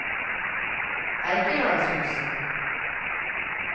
Eikelandsosen